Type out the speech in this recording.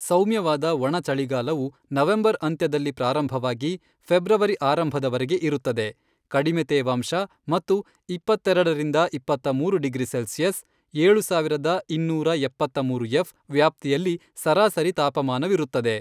, ಸೌಮ್ಯವಾದ ಒಣ ಚಳಿಗಾಲವು ನವೆಂಬರ್ ಅಂತ್ಯದಲ್ಲಿ ಪ್ರಾರಂಭವಾಗಿ ಫೆಬ್ರವರಿ ಆರಂಭದವರೆಗೆ ಇರುತ್ತದೆ ಕಡಿಮೆ ತೇವಾಂಶ ಮತ್ತು ಇಪ್ಪತ್ತೆರಡ ರಿಂದ ಇಪ್ಪತ್ತ್ಮೂರುಡಿಗ್ರಿ ಸೆಲ್ಸಿಯಸ್ (ಏಳು ಇನ್ನೂರ ಎಪ್ಪತ್ತ್ಮೂರು ಎಫ್) ವ್ಯಾಪ್ತಿಯಲ್ಲಿ ಸರಾಸರಿ ತಾಪಮಾನವಿರುತ್ತದೆ.